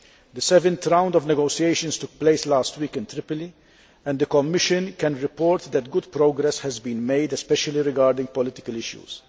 The seventh round of negotiations took place last week in Tripoli and the Commission can report that good progress has been made, especially regarding political issues.